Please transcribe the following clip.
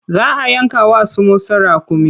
Za a yanka wa su Musa raƙumi.